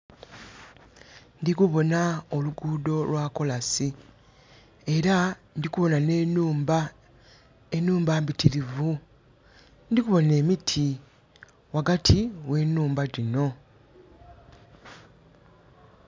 Ndikuboona oluguudo lwa kolansi era ndikubona ne nhumba. Enhumba mbitirivu, ndikubona emiti wagati we nhumba dino